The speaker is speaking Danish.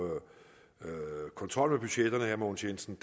kontrollen til herre mogens jensen